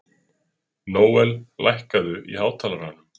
Nóel, lækkaðu í hátalaranum.